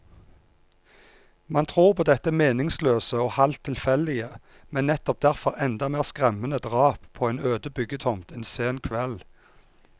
Man tror på dette meningsløse og halvt tilfeldige, men nettopp derfor enda mer skremmende drap på en øde byggetomt en sen kveld.